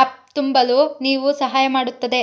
up ತುಂಬಲು ನೀವು ಸಹಾಯ ಮಾಡುತ್ತದೆ